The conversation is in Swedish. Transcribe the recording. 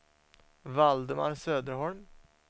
Valdemar Söderholm